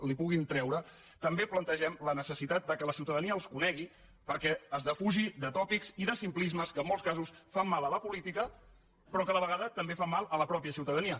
li puguin treure també plantegem la necessitat que la ciutadania els conegui perquè es defugi de tòpics i de simplismes que en molts casos fan mal a la política però a la vegada també fan mal a la mateixa ciutadania